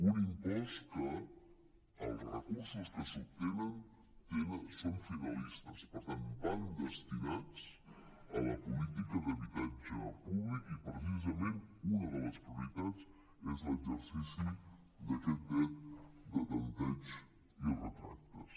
un impost que els recursos que se n’obtenen són finalistes per tant van destinats a la política d’habitatge públic i precisament una de les prioritats és l’exercici d’aquest dret de tempteig i retractes